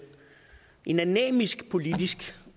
en anæmisk politisk